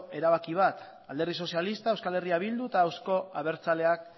erabaki bat alderdi sozialistak eh bilduk eta euzko abertzaleak